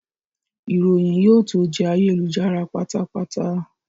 Ìròyìn yóò tó jẹ́ ayélujára pátápátá